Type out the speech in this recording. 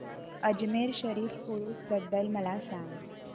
अजमेर शरीफ उरूस बद्दल मला सांग